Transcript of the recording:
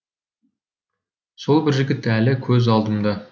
сол бір жігіт әлі көз алдымда